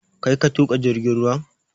Kai ka tuƙa jirgin ruwan?